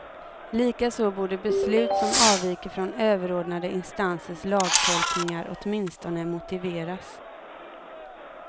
Likaså borde beslut som avviker från överordnade instansers lagtolkningar åtminstone motiveras.